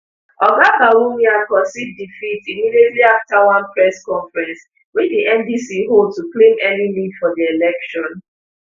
oga bawumia concede defeat immediately afta one press conference wey di ndc hold to claim early lead for di election